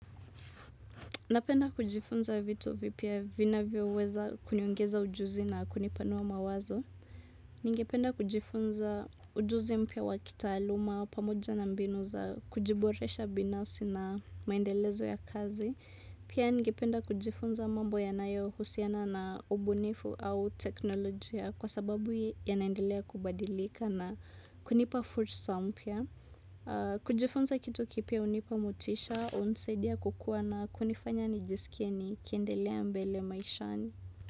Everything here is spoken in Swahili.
Napenda kujifunza vitu vipya vinavyoweza kuniongeza ujuzi na kunipanua mawazo. Ningependa kujifunza ujuzi mpya wa kitaaluma, pamoja na mbinu za kujiboresha binafsi na maendelezo ya kazi. Pia ningependa kujifunza mambo yanayohusiana na ubunifu au teknolojia kwa sababu yanaendelea kubadilika na kunipa fursa mpya. Kujifunza kitu kipya hunipa motisha, hunisaidia kukuwa na kunifanya nijiskie nikiendelea mbele maishani.